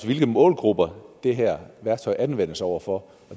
hvilke målgrupper det her værktøj anvendes over for